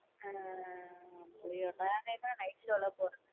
அப்டியா நான்லாம் night show லாம் போனதில்ல.